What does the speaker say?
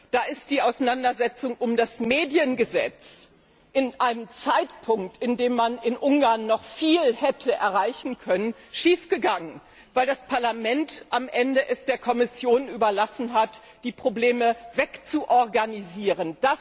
Da ist die Auseinandersetzung um das Mediengesetz zu einem Zeitpunkt, zu dem man in Ungarn noch viel hätte erreichen können, schiefgegangen, weil das Parlament es am Ende der Kommission überlassen hat, die Probleme wegzuorganisieren.